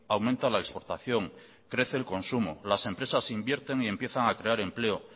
aumenta la exportación crece el consumo las empresas invierten y empiezan a crear empleo